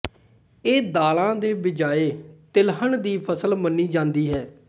ਇਹ ਦਾਲਾਂ ਦੇ ਬਜਾਏ ਤਿਲਹਨ ਦੀ ਫਸਲ ਮੰਨੀ ਜਾਂਦੀ ਹੈ